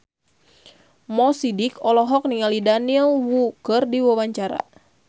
Mo Sidik olohok ningali Daniel Wu keur diwawancara